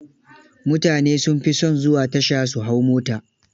Mutane sun fi son zuwa tasha su hau mota.